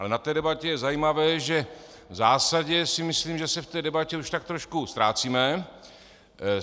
Ale na té debatě je zajímavé, že v zásadě si myslím, že se v té debatě už tak trošku ztrácíme.